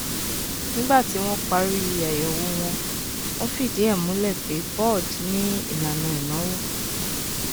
nígbà tí wọn parí àyèwò wọn wọn fìdí ẹ múlẹ pé boad ní ìlànà ìnáwó